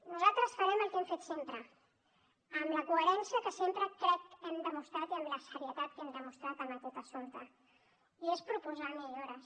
nosaltres farem el que hem fet sempre amb la coherència que sempre crec que hem demostrat i amb la serietat que hem demostrat en aquest assumpte i que és proposar millores